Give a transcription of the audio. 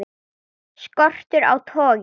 Skortur á togi